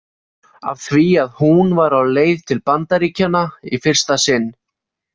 Af því að hún var á leið til Bandaríkjanna í fyrsta sinn.